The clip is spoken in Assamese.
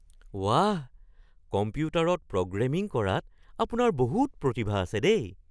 বাহ! কম্পিউটাৰত প্ৰগ্ৰেমিং কৰাত আপোনাৰ বহুত প্ৰতিভা আছে দেই।